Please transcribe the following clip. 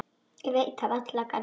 Ég veit það varla, Garðar.